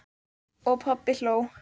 Og pabbi hló.